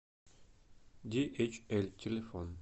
диэйчэль телефон